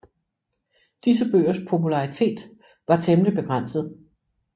Disse bøgers popularitet var temmelig begrænset